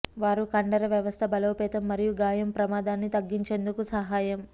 వారు కండర వ్యవస్థ బలోపేతం మరియు గాయం ప్రమాదాన్ని తగ్గించేందుకు సహాయం